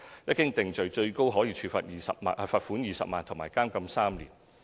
一經定罪，最高可處罰款20萬元及監禁3年。